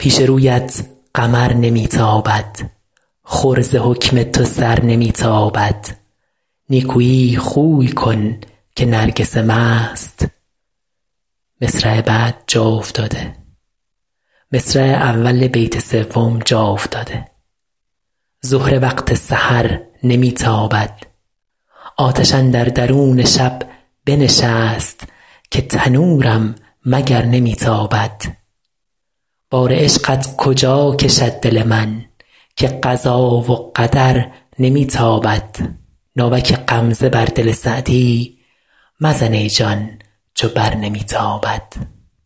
پیش رویت قمر نمی تابد خور ز حکم تو سر نمی تابد نیکویی خوی کن که نرگس مست بر تو با کین و شر نمی تابد دم غنیمت بدان زمان بشناس زهره وقت سحر نمی تابد آتش اندر درون شب بنشست که تنورم مگر نمی تابد بار عشقت کجا کشد دل من که قضا و قدر نمی تابد ناوک غمزه بر دل سعدی مزن ای جان چو بر نمی تابد